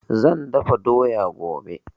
Zan dafa doya gobe